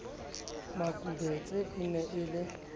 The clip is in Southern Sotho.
makubetse e ne e le